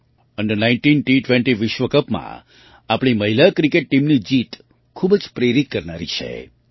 under nineteen વિશ્વ કપમાં આપણી મહિલા ક્રિકેટ ટીમની જીત ખૂબ જ પ્રેરિત કરનારી છે